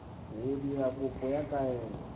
go dira kopo ya kaelo